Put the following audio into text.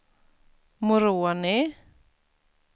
Moroni